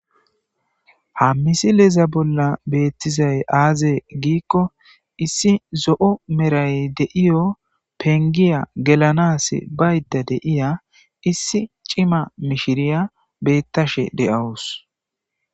Ha missileza bolla bettiza aze gizayissa gidikko isi zo"on qachetida eqa ba"ada biza isi cimma macassiya betaywus